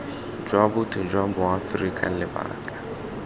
jwa botho jwa boaforika lebaka